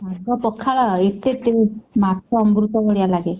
ଶାଗ ପଖାଳ ଏତେ taste ମାଛ ଅମୃତ ଭଳିଆ ଲାଗେ।